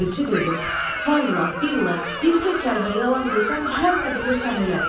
Elçi dedi: Vallah, billah, bircə kəlmə yalan desəm hər nə bilirsən elə.